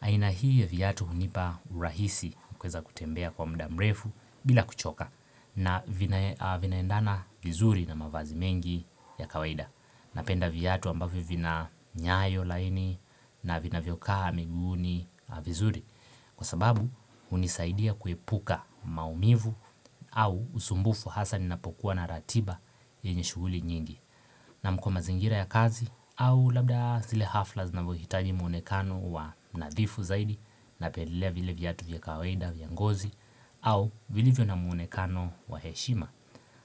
aina hii ya vyatu hunipa urahisi ukaeza kutembea kwa muda mrefu bila kuchoka na vinaendana vizuri na mavazi mengi ya kawaida Napenda vyatu ambavyo vina nyayo laini na vinavyo kaa miguuni vizuri Kwa sababu hunisaidia kuepuka maumivu au usumbufu hasa ninapokuwa na ratiba yenye shuguli nyingi na kwa mazingira ya kazi au labda zile hafla zinavohitaji mwonekano wa nadhifu zaidi Napendelea vile vyatu vya kawaida vya ngozi au vilivyo na mwonekano wa heshima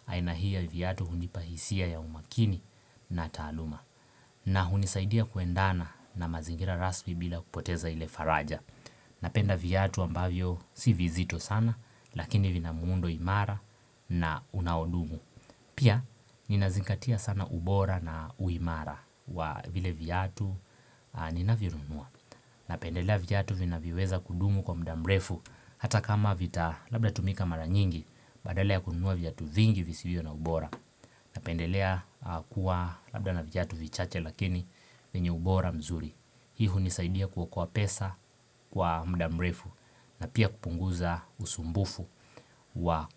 aina hii ya vyatu hunipa hisia ya umakini na taaluma na hunisaidia kuendana na mazingira rasmi bila kupoteza ile faraja Napenda viatu ambavyo si vizito sana Lakini vina muundo imara na unaodumu Pia ninazingatia sana ubora na uimara wa vile viatu ninavyonunua Napendelea viatu vinavyoweza kudumu kwa mudamrefu Hata kama vita labda tumika mara nyingi Badala kununua viatu vingi visivyo na ubora Napendelea kuwa labda na viatu vichache lakini vyenye ubora mzuri Hii hunisaidia kuokoa pesa Kwa mudamrefu na pia kupunguza usumbufu wa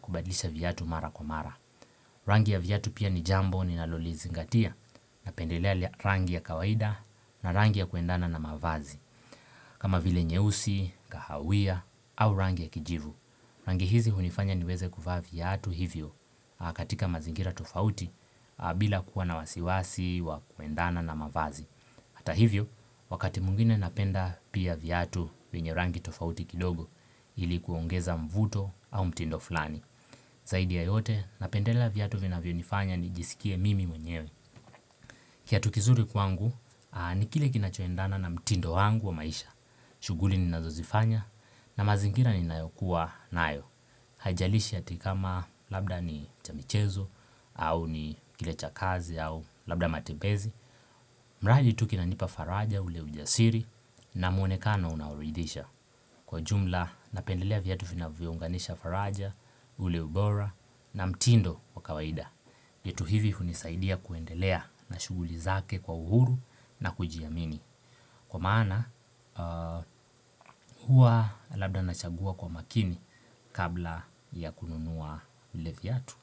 kubadilisha vyatu mara kwa mara Rangi ya vyatu pia ni jambo ni nalolizingatia Napendelea rangi ya kawaida na rangi ya kuendana na mavazi kama vile nyeusi, kahawia au rangi ya kijivu Rangi hizi hunifanya niweze kuvaa vyatu hivyo katika mazingira tofauti bila kuwa na wasiwasi wa kuendana na mavazi Hata hivyo, wakati mwingine napenda pia vyatu wenye rangi tofauti kidogo ili kuongeza mvuto au mtindo fulani. Zaidi ya yote, napendela vyatu vinavyonifanya nijisikie mimi mwenyewe. Kiatukizuri kwangu, nikile kinachoendana na mtindo wangu wa maisha. Shuguli ninazozifanya na mazingira ni nayokuwa nayo. Haijalishi atikama labda ni cha michezo au ni kile cha kazi au labda matembezi. Mradi itu kinanipa faraja ule ujasiri na mwonekano unaoridhisha. Kwa jumla napendelea vyatu vinavyo unganisha faraja ule ubora na mtindo wa kawaida. Yetu hivi kunisaidia kuendelea na shuguli zake kwa uhuru na kujiamini. Kwa maana hua labda nachagua kwa makini kabla ya kununua ile vyatu.